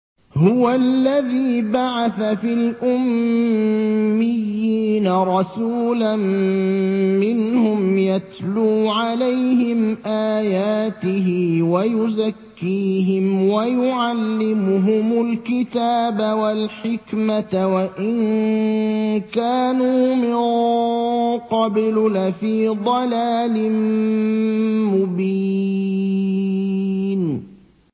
هُوَ الَّذِي بَعَثَ فِي الْأُمِّيِّينَ رَسُولًا مِّنْهُمْ يَتْلُو عَلَيْهِمْ آيَاتِهِ وَيُزَكِّيهِمْ وَيُعَلِّمُهُمُ الْكِتَابَ وَالْحِكْمَةَ وَإِن كَانُوا مِن قَبْلُ لَفِي ضَلَالٍ مُّبِينٍ